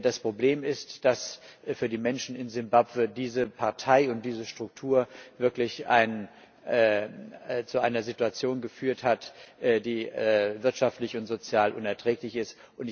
Das Problem ist, dass für die Menschen in Simbabwe diese Partei und diese Struktur wirklich zu einer Situation geführt haben, die wirtschaftlich und sozial unerträglich ist.